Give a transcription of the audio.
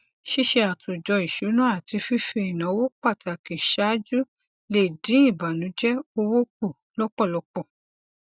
ṣíṣe àtòjọ ìsúná àti fífi ináwó pàtàkì ṣáájú lè dín ìbànújẹ owó kù lọpọlọpọ